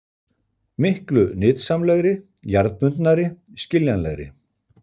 Miklu nytsamlegri, jarðbundnari, skiljanlegri!